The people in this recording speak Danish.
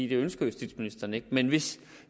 det ønsker justitsministeren ikke men hvis